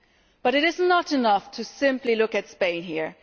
But it is not enough to simply look at Spain here.